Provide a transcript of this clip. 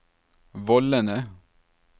vollene